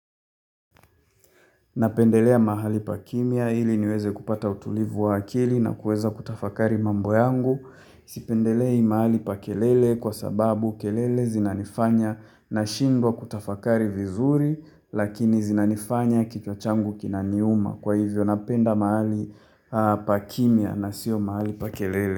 Napendelea mahali pa kimia ili niweze kupata utulivu wa akili na kuweza kutafakari mambo yangu. Sipendelei mahali pa kelele kwa sababu kelele zinanifanya na shindwa kutafakari vizuri lakini zinanifanya kichwa changu kinaniuma. Kwa hivyo napenda mahali pa kimia na siyo mahali pa kelele.